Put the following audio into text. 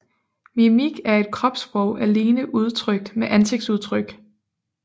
Mimik er et kropssprog alene udtrykt med ansigtsudtryk